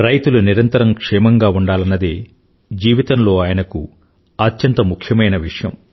రైతులు నిరతరం క్షేమంగా ఉండాలన్నదే జీవితంలో ఆయనకు అత్యంత ముఖ్యమైన విషయం